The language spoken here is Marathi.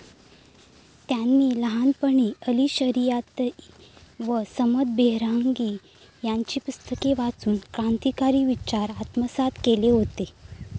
त्यांनी लहानपणीच अली शरियाती व समद बेहरांगी यांची पुस्तके वाचून क्रांतिकारी विचार आत्मसात केले होते.